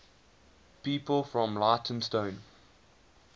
people from leytonstone